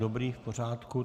Dobrá, v pořádku.